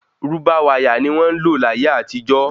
Rúbà wáyà ni wọ́n ńlò láyé àtijó